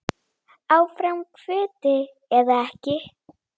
Áfram kvóti eða ekki?